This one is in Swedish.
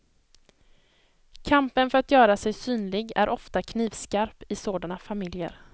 Kampen för att göra sig synlig är ofta knivskarp i sådana familjer.